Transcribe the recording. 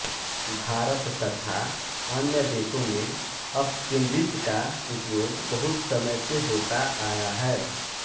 भारत तथा अन्य देशों में अपकेंद्रित्र का उपयोग बहुत समय से होता आया है